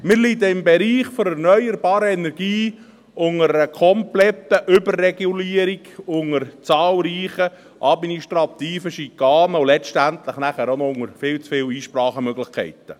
Wir leiden im Bereich der erneuerbaren Energien unter einer kompletten Überregulierung, unter zahlreichen administrativen Schikanen und letztendlich auch noch unter viel zu vielen Einsprachemöglichkeiten.